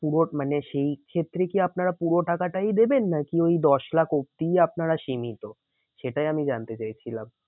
পুরো মানে সেই ক্ষেত্রে কি আপনারা পুরো টাকাটাই দেবেন নাকি ওই দশ লাখ অবধিই আপনারা সীমিত? সেটাই আমি জানতে চাই ছিলাম।